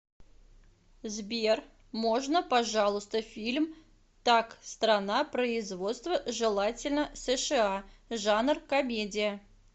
сбер можно пожалуйста фильм так страна производства желательно сша жанр комедия